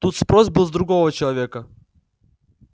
тут спрос был с другого человека